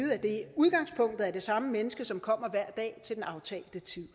udgangspunktet er det samme menneske som kommer hver dag til den aftalte tid